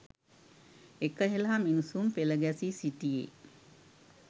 එක හෙළා මිනිසුන් පෙළ ගැසී සිටියේ